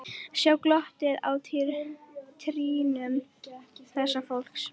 Sjá glottið á trýnum þessa fólks.